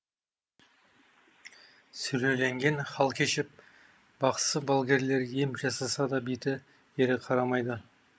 сүлеленген хал кешіп бақсы балгерлер ем жасаса да беті бері қарамайды